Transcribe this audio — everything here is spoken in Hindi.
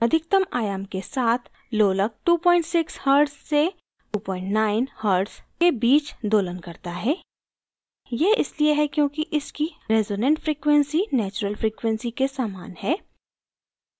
अधिकतम आयाम के साथ लोलक 26 hz से 29hz के बीच दोलन करता है